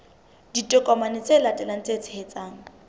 ditokomane tse latelang tse tshehetsang